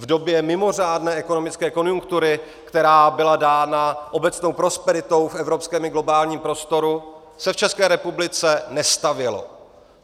V době mimořádné ekonomické konjunktury, která byla dána obecnou prosperitou v evropském i globálním prostoru, se v České republice nestavělo.